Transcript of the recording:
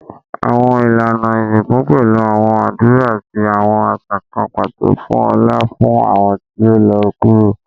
Awọn ilana isinku pẹlu awọn adura ati awọn aṣa kan pato fun ọlá fun awọn ti o lọ kuro